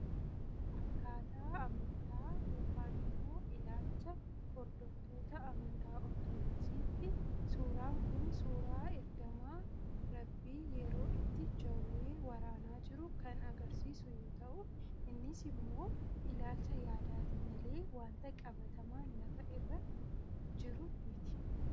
Akkaataa amantaa yookaan immoo ilaalcha hordoftoota amantaa Ortodoksiitti, suuraan Kun suuraa ergamaa rabbii yeroo itti jawwee waraanaa jiru kan agarsiisu yoo ta'u, innis immoo ilaalcha yaadaati malee waanta qabatamaa lafa irra jiru miti.